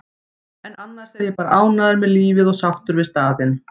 en annars er ég bara ánægður með lífið og sáttur við staðinn.